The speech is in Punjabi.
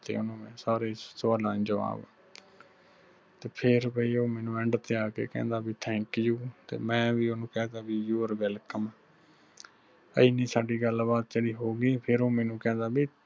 ਤੇ ਓਹਨੂੰ ਮੈਂ ਸਾਰੇ ਸਵਾਲਾਂ ਦੇ ਜਵਾਬ ਤੇ ਫਿਰ ਬਈ ਉਹ ਮੈਨੂੰ end ਤੇ ਆ ਕਹਿੰਦਾ ਬਈ thank you ਤੇ ਮੈਂ ਵੀ ਓਹਨੂੰ ਕਹਿ ਤਾ you are welcome ਇਨੀ ਜਿਹੜੀ ਸਾਡੀ ਗੱਲਬਾਤ ਹੋ ਗਈ ਫਿਰ ਉਹ ਮੈਨੂੰ ਕਹਿੰਦਾ ਬਈ